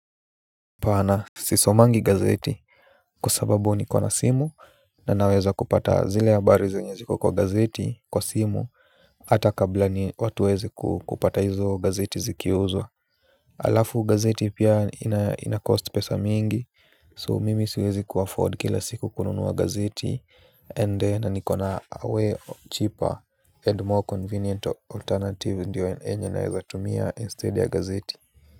Apana sisomangi gazeti. Kwasababu niko na simu na naweza kupata zile habari zenye ziko kwa gazeti kwa simu. Hata kabla ni watu waweze kupata hizo gazeti zikiuzwa. Alafu gazeti pia ina cost pesa mingi So mimi siwezi ku afford kila siku kununuwa gazeti and then nikona way cheaper and more convenient alternative ndio yenye naweza tumia instead ya gazeti.